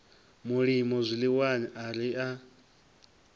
mulimo zwiḽiwani a ri a